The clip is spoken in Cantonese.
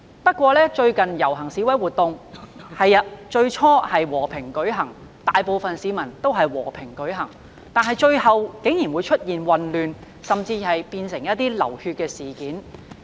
不過，最近的遊行示威活動，最初大部分市民的確是和平進行，但最後竟出現混亂，甚至變成流血事件。